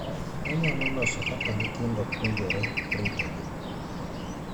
Onyalo loso kaka nyithindo puonjore ritogi.